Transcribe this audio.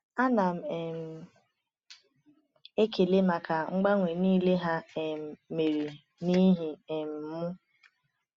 A na m um ekele maka mgbanwe niile ha um mere n’ihi um m.